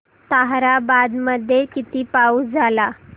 ताहराबाद मध्ये किती पाऊस झाला